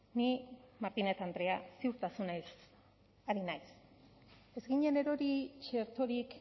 ni martínez andrea ziurtasunez ari naiz ez ginen erori txertorik